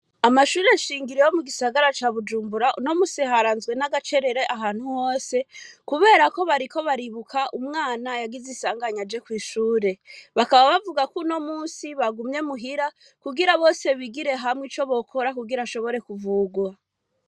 Amashure nshingiro yo mu gisagara ca Bujumbura, uno munsi haranzwe n'agacerere ahantu hose, kubera ko bariko baribuka umwana yagise isanganya aje kw'ishure. Bakaba bavuga k'uno musi bagumye muhira, kugira bose bigire hamwe ico bikora kugira ashoborwe kuvugwa.